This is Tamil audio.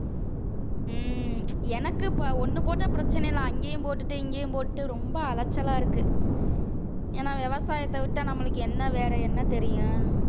உம் எனக்கு இப்ப ஒண்ணு போட்டா பிரச்சனை இல்லை அங்கேயும் போட்டுட்டேன் இங்கேயும் போட்டுட்டு ரொம்ப அலைச்சலா இருக்கு ஏன்னா விவசாயத்தை விட்டா நம்மளுக்கு என்ன வேற என்ன தெரியும்